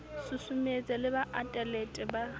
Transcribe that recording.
susumetse le ba atelete ba